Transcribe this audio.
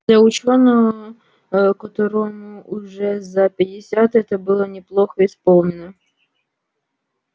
для учёного которому уже за пятьдесят это было неплохо исполнено